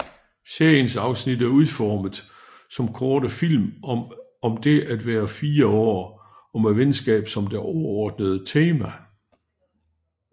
Seriens afsnit er udformet som korte film om det at være fire år og med venskab som det overordnede tema